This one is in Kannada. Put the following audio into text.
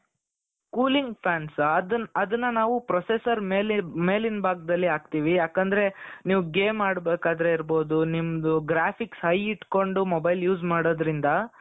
cooling fans ಅದನ್ನ ನಾವು processor ಮೇಲಿನ ಭಾಗದಲ್ಲಿ ಹಾಕ್ತೀವಿ ಯಾಕೆಂದ್ರೆ ನೀವ್ ಗೇಮ್ ಆಡಬೇಕಾದ್ರೆ ಇರಬಹುದು ನಿಮ್ದು graphics high ಇಟ್ಕೊಂಡು mobile use ಮಾಡೋದ್ರಿಂದ.